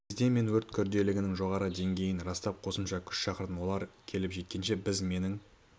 кезде мен өрт күрделілігінің жоғары деңгейін растап қосымша күш шақырдым олар келіп жеткенше біз менің